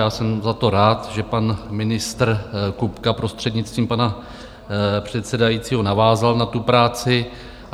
Já jsem za to rád, že pan ministr Kupka, prostřednictvím pana předsedajícího, navázal na tu práci.